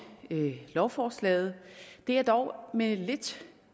lovforslaget det er dog med lidt